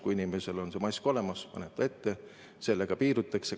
Kui inimesel on mask olemas ja ta paneb selle ette, siis sellega piirdutakse.